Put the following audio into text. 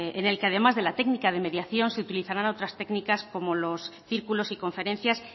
en el que además de la técnica de mediación se utilizaran otras técnicas como los círculos y conferencias